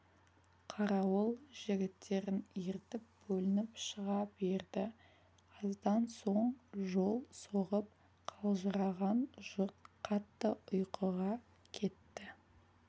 қарауыл жігіттерін ертіп бөлініп шыға берді аздан соң жол соғып қалжыраған жұрт қатты ұйыға кетті